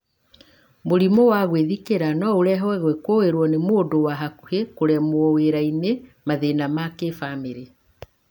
Mũrimũ wa gwĩthikĩra no ũrehwo gũkuĩrũo nĩ mũndũ wa hakuhĩ, kũremwo wĩra-inĩ, mathĩna ma kĩbamĩrĩ.